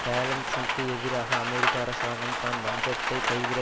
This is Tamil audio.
பேலன்சிக்கு எதிராக அமெரிக்க அரசாங்கம் தான் வஞ்சத்தைக் கைவிட